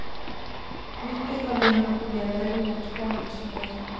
Mycket av det han upplever är oåtkomligt för mig.